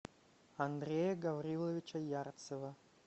андрея гавриловича ярцева